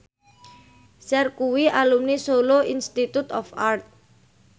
Cher kuwi alumni Solo Institute of Art